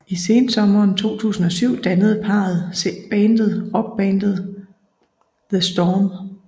I sensommeren 2007 dannede parret bandet rockbandet The Storm